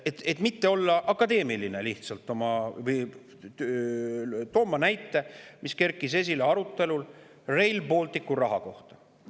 Et mitte olla lihtsalt akadeemiline, toon ma näite, mis kerkis esile arutelul Rail Balticu rahastuse üle.